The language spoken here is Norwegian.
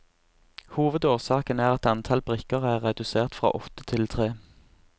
Hovedårsaken er at antall brikker er redusert fra åtte til tre.